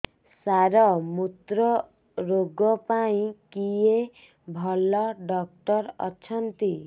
ସାର ମୁତ୍ରରୋଗ ପାଇଁ କିଏ ଭଲ ଡକ୍ଟର ଅଛନ୍ତି